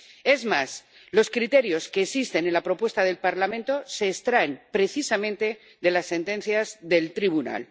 Es más, los criterios que existen en la propuesta del Parlamento se extraen precisamente de las sentencias del Tribunal.